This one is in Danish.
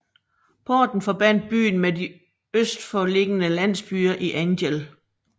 Porten forbandt byen med de øst for liggende landsbyer i Angel